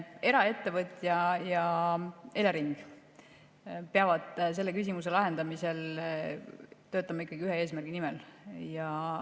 Eraettevõtja ja Elering peavad selle küsimuse lahendamisel töötama ikkagi ühe eesmärgi nimel.